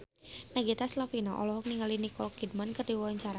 Nagita Slavina olohok ningali Nicole Kidman keur diwawancara